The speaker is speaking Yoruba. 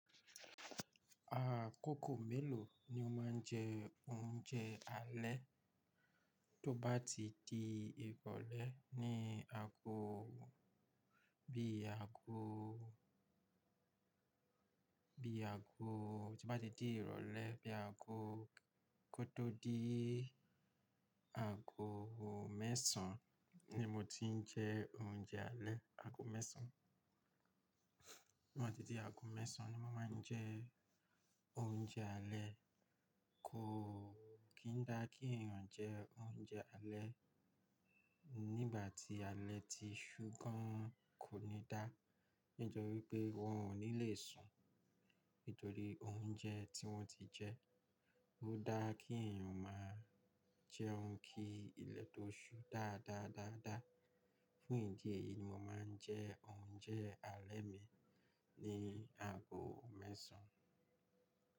Àkókò mélòó ni o máa ń jẹ oúnjẹ alẹ́? Tó bá ti di ìrọ̀lẹ́ ní ago bí i ago, bí i ago tí n bá ti di ìrọ̀lẹ́ bí i ago kótó di ago mẹ́sàn án ni mo ti ń jẹ oúnjẹ alẹ́, ago mẹ́sàn án. To ba tí di ago mẹ́sàn án ni mo máa ń jẹ oúnjẹ alẹ́. Kò kí n dá kí èèyàn jẹ oúnjẹ alẹ́ nígbà tí alẹ́ ti ṣú gan kò ní dá. Nítorí pé wọn ò ní le sùn nítorí oúnjẹ tí wọ́n ti jẹ́. Ó dáa kí èèyàn máa jẹ́ oun kí ilẹ̀ tó ṣú dáadáa, dáadáa. Fún ìdí èyí ni mo máa ń jẹ oúnjẹ alẹ́ mi ní ago mẹ́sàn án.